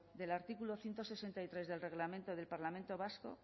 del artículo ciento sesenta y tres del reglamento del parlamento vasco